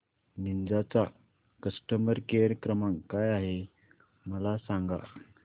Ninja चा customer care क्रमांक काय आहे मला सांगा